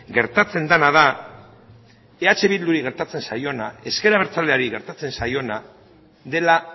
gertatzen dena da eh bilduri gertatzen zaiona ezker abertzaleari gertatzen zaiona dela